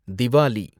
Diwali